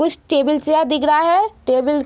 कुछ table chair दिख रहा है। टेबल --